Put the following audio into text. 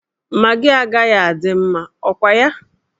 Magị agaghị adị mma, ọ kwa ya?